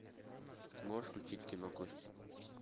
можешь включить кино кости